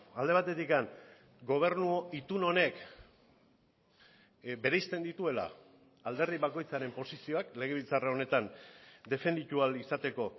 alde batetik gobernu itun honek bereizten dituela alderdi bakoitzaren posizioak legebiltzar honetan defenditu ahal izateko